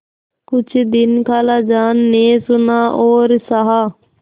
कुछ दिन खालाजान ने सुना और सहा